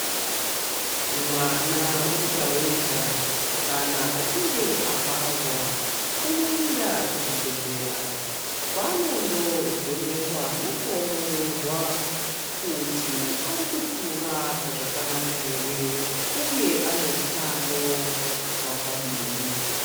Mwana wega wega kana achinge abarwa unoenda kuzvibhedhlera kwaanondovhenekwa nekuongororwa kuti ari kukura zvakanaka here uye ane utano hwakadini.